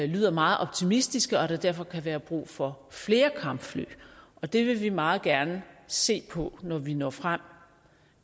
lyder meget optimistiske og at der derfor kan være brug for flere kampfly og det vil vi meget gerne se på når vi når frem